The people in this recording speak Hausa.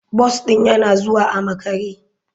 Bus ɗin yana zuwa a makare.